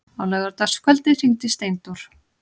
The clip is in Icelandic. Á laugardagskvöldið hringdi Steindór.